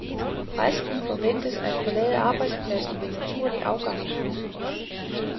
Resten forventes at forlade arbejdspladsen ved naturlig afgang.